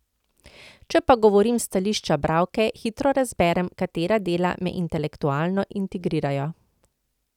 Če pa govorim s stališča bralke, hitro razberem, katera dela me intelektualno intrigirajo.